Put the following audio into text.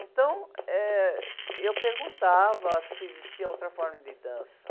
Então, eh, eu perguntava se existia outra forma de dança.